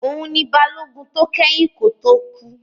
Òun ni Balógun tó kẹ́yìn kó tó kú